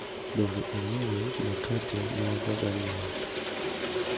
Donge ing`eyo makate mawajoga nyiewo.